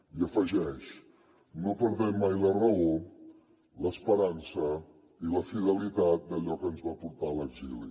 i afegeix no perdem mai la raó l’esperança i la fidelitat d’allò que ens va portar a l’exili